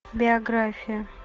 биография